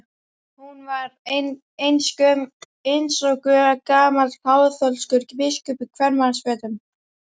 Hún var eins og gamall kaþólskur biskup í kvenmannsfötum.